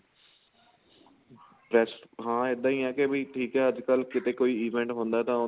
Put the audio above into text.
yes ਹਾਂ ਇੱਦਾਂ ਆ ਕੀ ਬੀ ਠੀਕ ਆ ਅੱਜਕਲ ਕੀਤੇ ਕੋਈ event ਹੁੰਦਾ ਤਾਂ ਉਹਨੂੰ